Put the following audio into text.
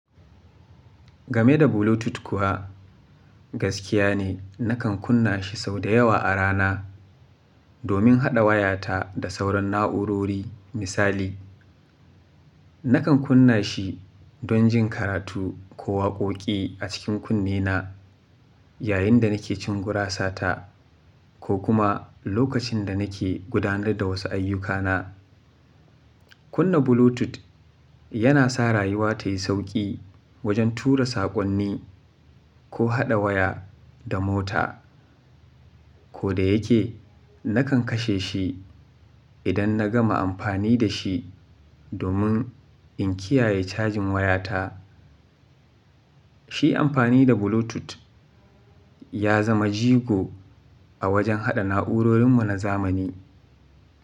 Game da Bluetooth kuwa, gaskiya ne nakan kunna shi sau da yawa a rana domin haɗa wayata da sauran na'urori misali. Nakan kunna shi don jin karatu ko waƙoƙi a cikin kunne na yayin da nake cin gurasata ko kuma lokacin da nake gudanar da wasu ayyukana. Kunna Bluetooth yana sa rayuwa ta yi sauƙi wajen tura saƙonni ko haɗa waya da mota. Ko da yake, nakan kashe shi idan na gama amfani da shi domin in kiyaye cajin wayata. Shi amfani da Bluetooth ya zama jigo a wajen haɗa na'urorin mu na zamani.